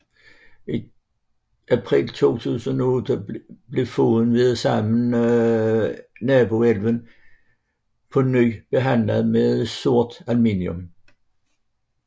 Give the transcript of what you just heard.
I april 2008 blev floden sammen med naboelven Erdalselva på ny behandlet med surt aluminium